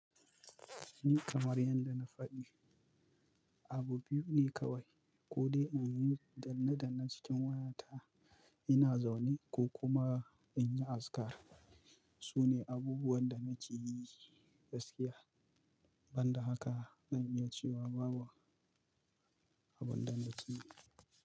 Kamar yadda na faɗi, abu biyu ne kawai ko dai in yi danne-danne cikin wayata ina zaune ko kuma in yi azkar. Su ne abubuwan da nake yi gaskiya, ban da haka zan iya cewa babu abinda na ke yi.